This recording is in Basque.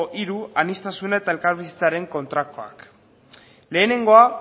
hiru aniztasuna eta elkarbizitzaren kontrakoak lehenengoa